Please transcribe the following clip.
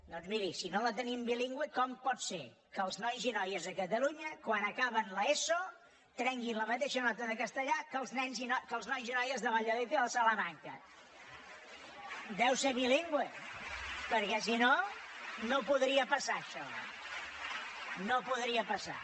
doncs miri si no la tenim bilingüe com pot ser que els nois i noies de catalunya quan acaben l’eso treguin la mateixa nota de castellà que els nois i noies de valladolid i de salamanca deu ser bilingüe perquè si no no podria passar això no podria passar